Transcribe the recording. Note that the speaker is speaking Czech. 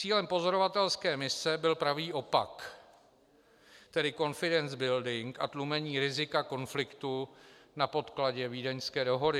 Cílem pozorovatelské mise byl pravý opak, tedy confidence building a tlumení rizika konfliktu na podkladě vídeňské dohody.